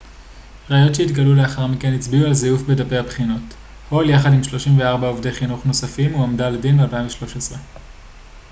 ראיות שהתגלו לאחר מכן הצביעו על זיוף בדפי הבחינות הול יחד עם 34 עובדי חינוך נוספים הועמדה לדין ב-2013